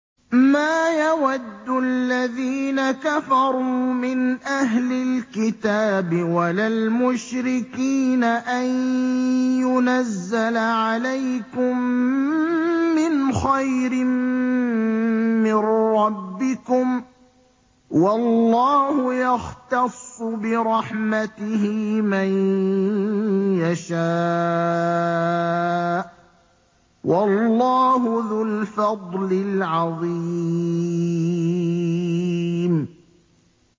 مَّا يَوَدُّ الَّذِينَ كَفَرُوا مِنْ أَهْلِ الْكِتَابِ وَلَا الْمُشْرِكِينَ أَن يُنَزَّلَ عَلَيْكُم مِّنْ خَيْرٍ مِّن رَّبِّكُمْ ۗ وَاللَّهُ يَخْتَصُّ بِرَحْمَتِهِ مَن يَشَاءُ ۚ وَاللَّهُ ذُو الْفَضْلِ الْعَظِيمِ